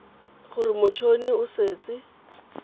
gore mot honi o setse